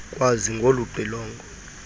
kwazi ngolu xilongo